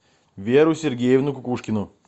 веру сергеевну кукушкину